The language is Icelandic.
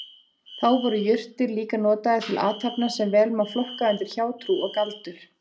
Þá voru jurtir líka notaðar til athafna sem vel má flokka undir hjátrú og galdur.